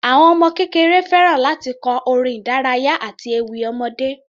Àwọn ọmọ kékeré fẹ́ràn láti kọ orin ìdárayá àti ewì ọmọdé.